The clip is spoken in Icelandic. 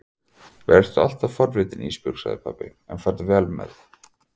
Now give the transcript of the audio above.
Vertu alltaf forvitin Ísbjörg, sagði pabbi, en farðu vel með það.